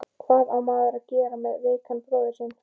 Hvað á maður að gera með veikan bróður sinn?